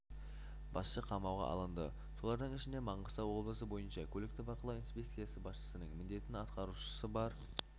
басшы қамауға алынды солардың ішінде маңғыстау облысы бойынша көлікті бақылау инспекциясы басшысының міндетін атқарушы бар